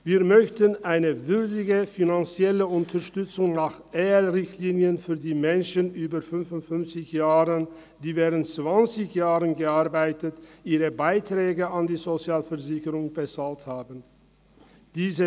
Wir möchten für die Menschen über 55 Jahre, die während zwanzig Jahren gearbeitet und ihre Beiträge an die Sozialversicherungen bezahlt haben, eine würdige finanzielle Unterstützung nach EL-Richtlinien.